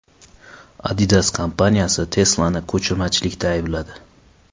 Adidas kompaniyasi Tesla’ni ko‘chirmachilikda aybladi.